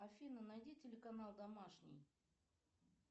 афина найди телеканал домашний